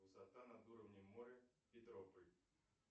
высота над уровнем моря петрополь